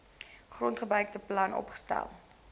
grondgebruike plan opgestel